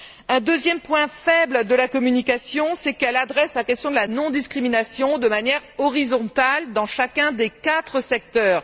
Un deuxième point faible de la communication, c'est qu'elle aborde la question de la non discrimination de manière horizontale dans chacun des quatre secteurs.